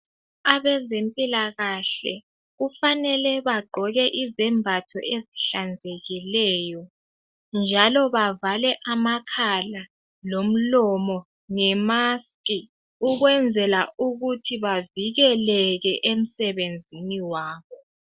Abezempilakahle kufanele bagqoke izembatho ezihlanzekileyo njalo bavale amakhala lomlomo nge mask ukwenzela ukuthi bavikeleke emsebenzini wabo.